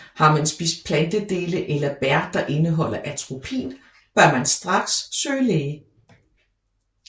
Har man spist plantedele eller bær der indeholder atropin bør man straks søge læge